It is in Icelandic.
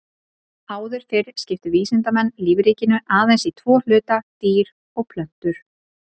Áður fyrr skiptu vísindamenn lífríkinu aðeins í tvo hluta, dýr og plöntur.